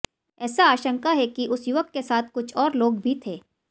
ऐसा आशंका है कि उस युवक के साथ कुछ और लोग भी थे